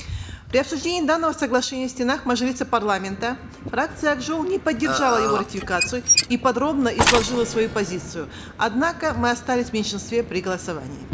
при обсуждении данного соглашения в стенах мажилиса парламента фракция ак жол не поддержала его ратификацию и подробно изложила свою позицию однако мы остались в меньшинстве при голосовании